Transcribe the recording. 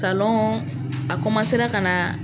a ka na